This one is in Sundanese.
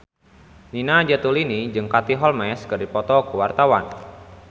Nina Zatulini jeung Katie Holmes keur dipoto ku wartawan